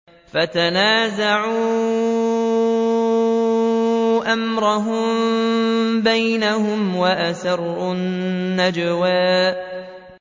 فَتَنَازَعُوا أَمْرَهُم بَيْنَهُمْ وَأَسَرُّوا النَّجْوَىٰ